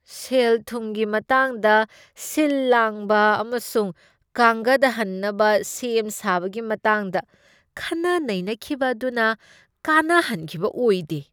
ꯁꯦꯜ ꯊꯨꯝꯒꯤ ꯃꯇꯥꯡꯗ ꯁꯤꯜ ꯂꯥꯡꯕ ꯑꯃꯁꯨꯡ ꯀꯥꯡꯒꯠ ꯍꯟꯅꯕ ꯁꯦꯝ ꯁꯥꯕꯒꯤ ꯃꯇꯥꯡꯗ ꯈꯟꯅ ꯅꯩꯅꯈꯤꯕ ꯑꯗꯨꯅ ꯀꯥꯟꯅꯍꯟꯈꯤꯕ ꯑꯣꯏꯗꯦ꯫